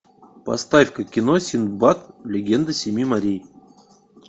поставь ка кино синдбад легенда семи морей